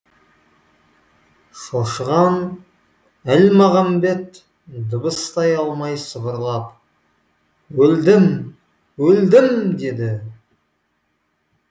шошыған әлмағамбет дыбыстай алмай сыбырлап өлдім өлдім деді